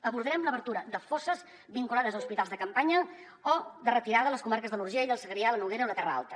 abordarem l’obertura de fosses vinculades a hospitals de campanya o de retirada a les comarques de l’urgell el segrià la noguera o la terra alta